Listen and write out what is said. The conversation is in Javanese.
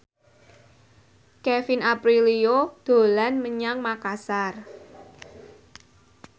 Kevin Aprilio dolan menyang Makasar